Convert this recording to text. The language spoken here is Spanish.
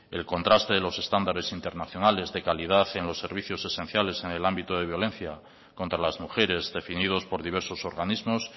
el contraste de los estándares internacionales de calidad en los servicios esenciales en el ámbito de violencia contra las mujeres definidos por diversos organismos